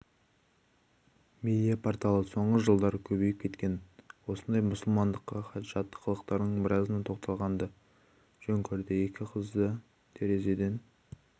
медиа-порталы соңғы жылдары көбейіп кеткен осындай мұсылмандыққа жат қылықтардың біразына тоқталғанды жөн көрді екі қызын терезеден